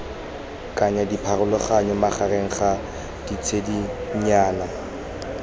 kaya dipharologano magareng ga ditshedinyana